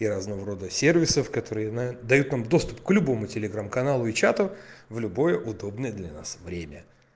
и разного рода сервисов которые на дают нам доступ к любому телеграм каналу и чату в любое удобное для нас время